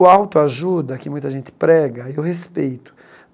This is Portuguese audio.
O autoajuda que muita gente prega, eu respeito.